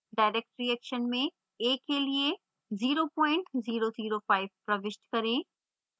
direct reaction में a के लिए 0005 प्रविष्ट करें